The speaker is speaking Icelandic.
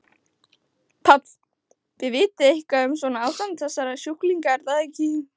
Páll: Þið vitið eitthvað um svona ástand þessara sjúklinga er það ekki?